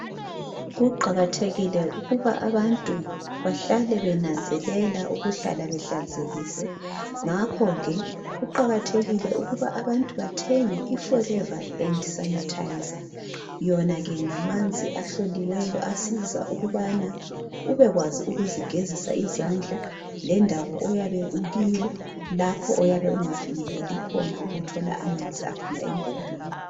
Kuqakathekile ukuba abantu bahlale benanzelela ukuhlala behlanzekile ngakho ke kuqakathekile ukuba abantu bathenge iforever hand sanitizer yona ke ngamanzi ahloliweyo asiza ukubana ubekwazi ukuzigezisa izandla lendawo oyabe ukiyo lapho oyabe ungafinyeleli khona ukuthola amanzi aphuma empopini